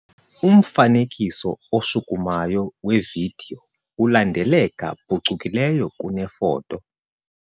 Umfanekiso oshukumayo wevidiyo ulandeleka phucukileyo kunefoto.